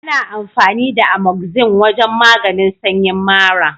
Ana amfani da Amoxin wajen maganin sanyin mara.